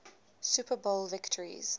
super bowl victories